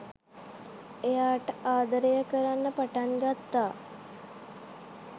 එයාට ආදරය කරන්න පටන් ගත්තා